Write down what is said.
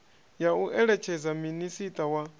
ya u eletshedza minisiṱa wa